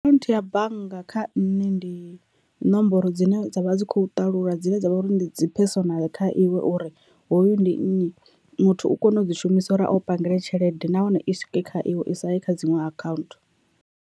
Akhaunthu ya bannga kha nṋe ndi nomboro dzine dzavha dzi kho ṱalula dzine dzavha uri ndi dzi personnel kha iwe uri hoyu ndi nnyi muthu u kona u dzi shumisa uri a wu pangele tshelede nahone i swike kha iwe i sa ye kha dziṅwe account.